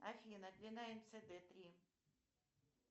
афина длина мцд три